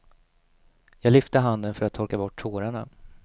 Jag lyfte handen för att torka bort tårarna.